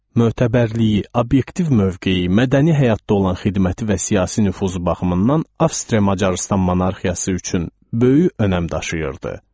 Mötəbərliyi, obyektiv mövqeyi, mədəni həyatda olan xidməti və siyasi nüfuzu baxımından Avstriya-Macarıstan monarxiyası üçün böyük önəm daşıyırdı.